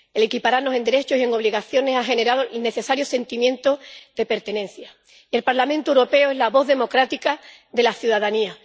El equipararnos en derechos y en obligaciones ha generado el necesario sentimiento de pertenencia, y el Parlamento Europeo es la voz democrática de la ciudadanía.